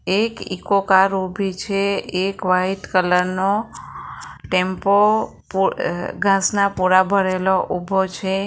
એક eco car ઊભી છે એક વાઈટ કલરનો ટેમ્પો પો ઘાસના પોડા ભરેલો ઉભો છે.